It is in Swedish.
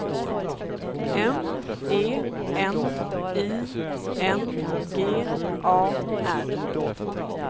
M E N I N G A R